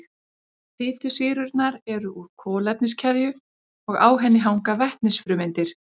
Fitusýrurnar eru úr kolefniskeðju og á henni hanga vetnisfrumeindir.